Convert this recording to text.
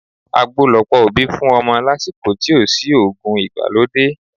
Àgbo lọ̀pọ̀ òbí fún ọmọ lásìkò tí ò sí òògùn ìgbàlódé